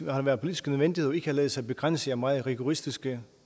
har været politisk nødvendigt og ikke har ladet sig begrænse af meget rigoristiske